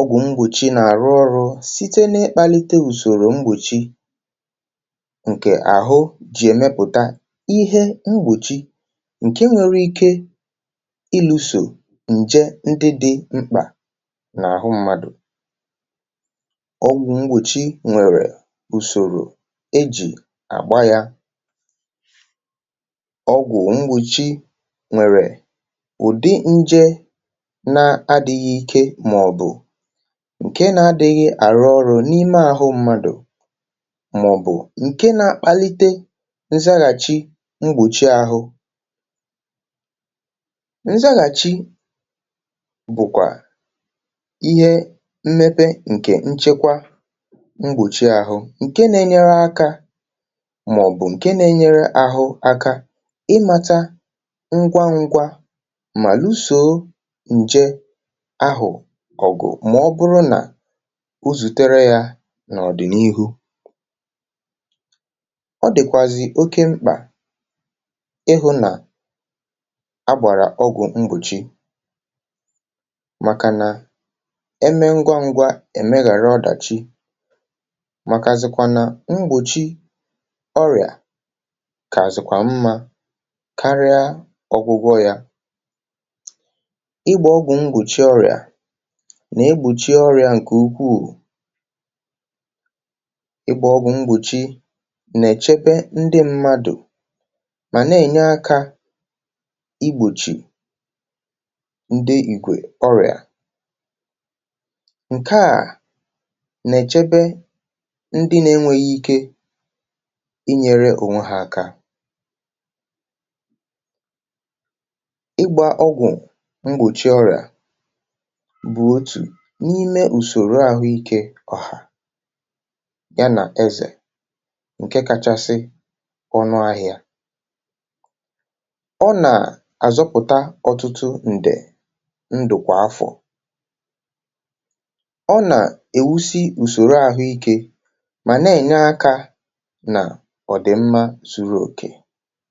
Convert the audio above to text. ọgwụ̀ mgbòchi nà-àrụ ọrụ̇ site n’ekpalite ùsòrò mgbòchi, ǹke nwėrè ike ilu̇sò ǹje ndị dị̇ mkpà n’àhụ mmadụ̀. ọgwụ̀ mgbòchi nwèrè ùsòrò e jì àgba ya. ọgwụ̀ mgbòchi nwèrè ụ̀dị nje na-adị̇ghị̇ ike, màọ̀bụ̀ ǹke na-adị̇ghị̇ àrụ ọrụ̇ n’ime àhụ mmadụ̀, màọ̀bụ̀ ǹke na-akpalite mgbòchi àhụ. nzaghàchi bụ̀kwà ihe mmepe ǹkè nchekwa mgbòchi àhụ, ǹke na-enyere akȧ, màọ̀bụ̀ ǹke na-enyere àhụ aka ịmȧta ngwa ngwa mà lusò nje ahụ̀ ọ̀gụ̀, mà ọbụrụ nà uzùtere yȧ n’ọ̀dị̀nihu. ọ dị̀kwàzị̀ oke mkpà ịhụ nà abàrà ọgwụ̀ mbùchi, màkà nà eme ngwa ngwa èmeghàra ọdàchi, màkàzịkwa nà mbùchi ọrịà kà àzịkwa mmȧ karịa ọgwụgwọ yȧ. igbȧ ọgwụ̀ mbùchi ọrịà nà egbùchie ọrịà ǹkè ukwuù. igbȧ ọgwụ̀ mbùchi nà èchebe ndị mmadù, mà nà-ènye akȧ igbòchì ndị ìkwè ọrị̀à. ǹkè à nà-èchebe ndị nȧ-enweghị ike inyėre ònwe hȧ aka. igbȧ ọgwụ̀ mgbòchi ọrị̀à bụ̀ otù n’ime ùsòrò àhụike ọ̀hà ya nà ezè, ǹke kachasị ọnụ ahịȧ. ọ nà-àzọpụ̀ta ọtụtụ ǹdè ǹdụ̀, kwà afọ̀, ọ nà-ewusi ùsòrò ahụikė mà na-enye akȧ nà ọ̀dị̀mmȧ zuru òkè.